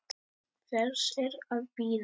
Hvers er að bíða?